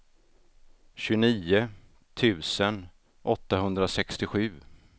tjugonio tusen åttahundrasextiosju